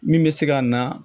Min bɛ se ka na